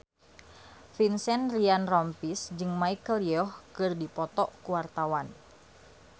Vincent Ryan Rompies jeung Michelle Yeoh keur dipoto ku wartawan